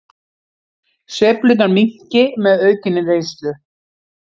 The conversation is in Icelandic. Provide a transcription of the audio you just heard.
Sveiflurnar minnki með aukinni reynslu